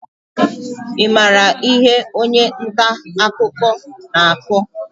Ị maara ihe onye nta akụkọ na-akọ?